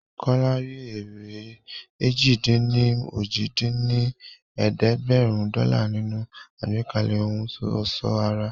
Kọ́lá rí èrè èjì-dín-ní-ojì dín ní ẹ̀ẹ́dẹ́gbẹ́rún dọ́là nínú àgbékalẹ̀ ohun ọ̀ṣọ́ ara